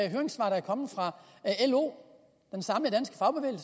de høringssvar der er kommet fra lo